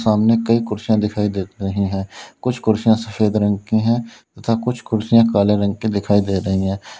सामने कई कुर्सियां दिखाई देत रही हैं कुछ कुर्सियां सफेद रंग की हैं तथा कुछ कुर्सियां काले रंग की दिखाई दे रही हैं।